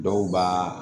Dɔw b'a